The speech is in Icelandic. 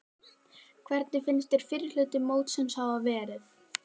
Hvernig finnst þér fyrri hluti mótsins hafa verið?